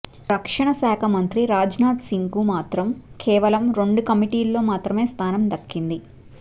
రక్షణ శాఖ మంత్రి రాజ్నాథ్ సింగ్కు మాత్రం కేవలం రెండు కమిటీల్లో మాత్రమే స్థానం దక్కింది